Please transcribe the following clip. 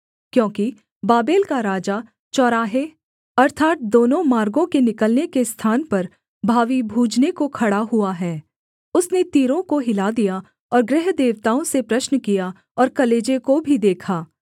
क्योंकि बाबेल का राजा चौराहे अर्थात् दोनों मार्गों के निकलने के स्थान पर भावी बूझने को खड़ा हुआ है उसने तीरों को हिला दिया और गृहदेवताओं से प्रश्न किया और कलेजे को भी देखा